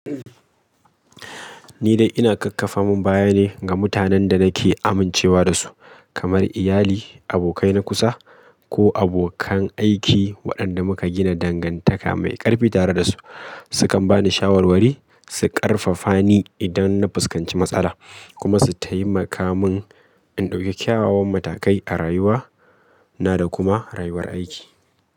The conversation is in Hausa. Ni dai ina kakkafa min baya ne ga mutanen da nake amincewa da su, kamar iyali, abokai na kusa ko abokan aiki waɗanda muka gina dangantaka mai ƙarfi tare da su. Su kan ba ni shawarwari, su ƙarfafa ni idan na fuskanci matsala, kuma su taimaka mun in ɗauki kyawawan matakai a rayuwa na da kuma rayuwar aiki.